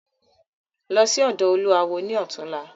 Lọ sí ọ̀dọ̀ olúawo ni ọ̀túnla!